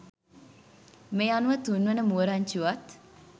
මේ අනුව තුන්වන මුව රංචුවත්